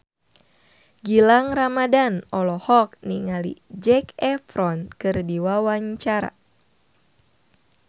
Gilang Ramadan olohok ningali Zac Efron keur diwawancara